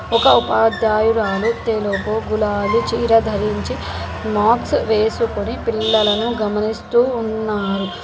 ఒక ఉపాధ్యాయురాలు తెలుగు గులాబీ చీర ధరించి మార్క్స్ వేసుకొని పిల్లలను గమనిస్తూ ఉన్నారు.